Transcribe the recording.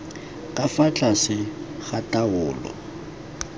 ka fa tlase ga taolo